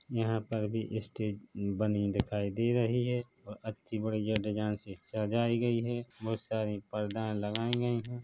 यहाँ पर भी स्टेज बनी दिखाई दे रही है और अच्छी बढ़िया डिज़ाइन से सजाई गई है बोहुत सारी परदाएं लगाई गई है।